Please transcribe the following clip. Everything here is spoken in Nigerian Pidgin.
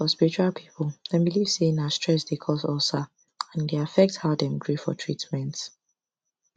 for spiritual people dem believe say na stress dey cause ulcer and e dey affect how dem gree for treatment